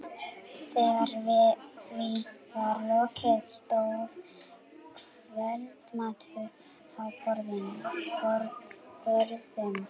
Þegar því var lokið stóð kvöldmatur á borðum.